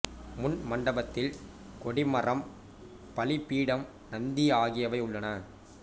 முன் மண்டபத்தில் கொடி மரம் பலிபீடம் நந்தி ஆகியவை உள்ளன